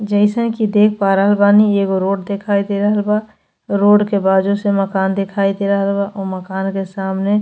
जैसा कि देख पा रहल बानी एगो रोड दिखाई दे रहल बा। रोड के बाजू से मकान दिखाई दे रहल बा। उ मकान के सामने --